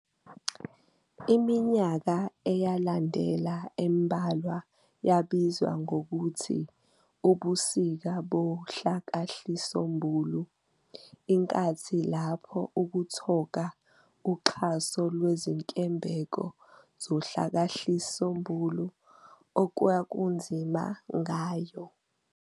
Iminyaka eyalandela embalwa yabizwa ngokuthi "ubusika bohlakahlisombulu", inkathi lapho ukuthoka uxhaso lwezinkebengo zohlakahlisombulu okwakunzima ngayo.